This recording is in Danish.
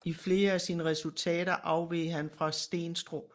I flere af sine resultater afveg han fra Steenstrup